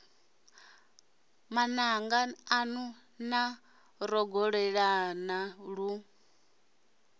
mananga anu na rogolelana lu